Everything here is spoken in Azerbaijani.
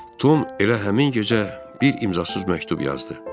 Tom elə həmin gecə bir imzasız məktub yazdı.